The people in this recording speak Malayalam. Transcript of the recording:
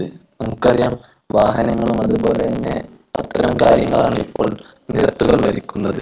നമുക്കറിയാം വാഹനങ്ങൾ അതുപോലെ തന്നെ അത്തരം കാര്യങ്ങളാണ് ഇപ്പോൾ നിരത്തുകൾ ഭരിക്കുന്നത്.